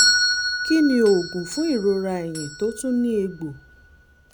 kí ni oògùn fún ìrora ẹ̀yìn tó tún ní egbò?